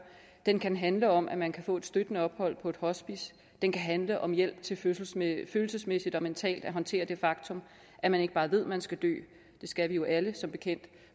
den kan handle om at man kan få et støttende ophold på et hospice den kan handle om hjælp til følelsesmæssigt og mentalt at håndtere det faktum at man ikke bare ved at man skal dø det skal vi jo alle som bekendt